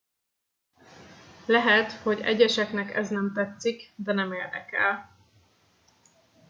lehet hogy egyeseknek ez nem tetszik de nem érdekel